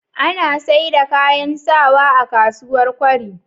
Ana saida kayan sawa a kasuwar kwari